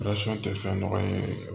tɛ fɛn nɔgɔma ye